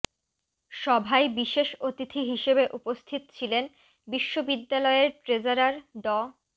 সভায় বিশেষ অতিথি হিসেবে উপস্থিত ছিলেন বিশ্ববিদ্যালয়ের ট্রেজারার ড